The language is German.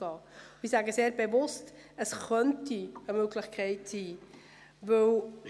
Ich sage bewusst, dass dies eine Möglichkeit sein könnte.